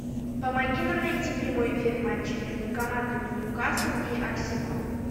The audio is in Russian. помоги нам найти прямой эфир матча между командами ньюкасл и арсенал